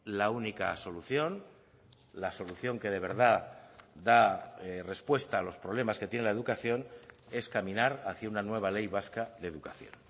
la única solución la solución que de verdad da respuesta a los problemas que tiene la educación es caminar hacia una nueva ley vasca de educación